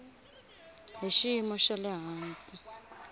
hi xiyimo xa le hansi